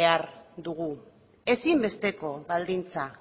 behar dugu ezinbesteko baldintza